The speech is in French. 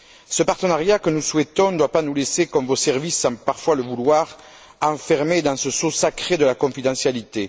Ce partenariat que nous souhaitons ne doit pas nous laisser, comme vos services semblent parfois le vouloir, enfermés dans ce sceau sacré de la confidentialité.